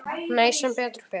Nei, sem betur fer.